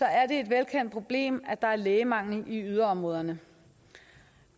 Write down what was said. er det et velkendt problem at der er lægemangel i yderområderne